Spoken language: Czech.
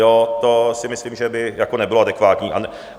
Jo, to si myslím, že by jako nebylo adekvátní.